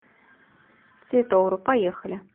цветовру поехали